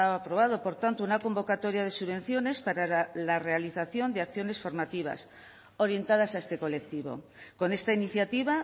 aprobado por tanto una convocatoria de subvenciones para la realización de formativas orientadas a este colectivo con esta iniciativa